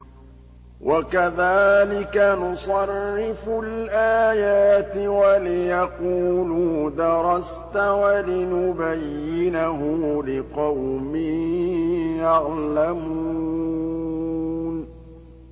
وَكَذَٰلِكَ نُصَرِّفُ الْآيَاتِ وَلِيَقُولُوا دَرَسْتَ وَلِنُبَيِّنَهُ لِقَوْمٍ يَعْلَمُونَ